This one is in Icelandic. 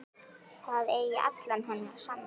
Það eigi alla hennar samúð.